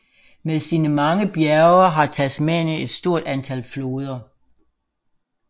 Med sine mange bjerge har Tasmanien et stort antal floder